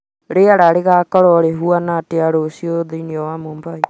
rĩera rĩgaakorũo rĩhaana atĩa rũciũ thĩinĩ wa Mumbai